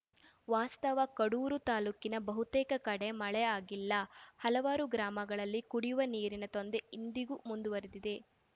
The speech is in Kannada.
ವಾಸ್ತವ ಕಡೂರು ತಾಲೂಕಿನ ಬಹುತೇಕ ಕಡೆ ಮಳೆಯಾಗಿಲ್ಲ ಹಲವಾರು ಗ್ರಾಮಗಳಲ್ಲಿ ಕುಡಿವ ನೀರಿನ ತೊಂದರೆ ಇಂದಿಗೂ ಮುಂದುವರೆದಿದೆ